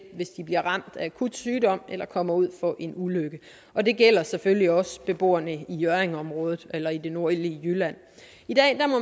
hvis de bliver ramt af akut sygdom eller kommer ud for en ulykke og det gælder selvfølgelig også beboerne i hjørringområdet eller i det nordlige jylland